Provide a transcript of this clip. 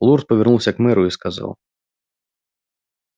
лорд повернулся к мэру и сказал